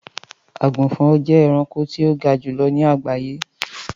Àgùnfọn jẹ ẹranko ti o ga julọ ni agbaye.